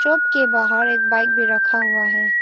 के बाहर एक बाइक भी रखा हुआ है।